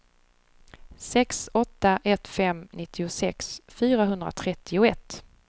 sex åtta ett fem nittiosex fyrahundratrettioett